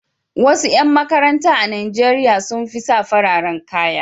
Wasu ƴan makaranta a Najeriya sun fi sa fararen kaya.